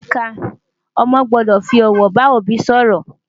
ní ìlú áfríkà, ọmọ gbódò fí òwò bá òbí sòrò